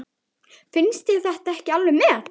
Finnst þér þetta ekki alveg met!